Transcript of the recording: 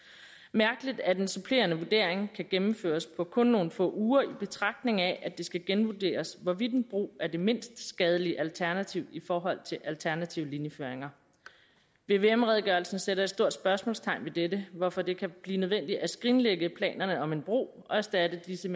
mærkeligt at den supplerende vurdering kan gennemføres på kun nogle få uger i betragtning af at det skal genvurderes hvorvidt en bro er det mindst skadelige alternativ i forhold til alternative linjeføringer vvm redegørelsen sætter et stort spørgsmålstegn ved dette hvorfor det kan blive nødvendigt at skrinlægge planerne om en bro og erstatte disse